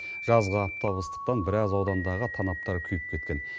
жазғы аптап ыстықтан біраз аудандағы танаптар күйіп кеткен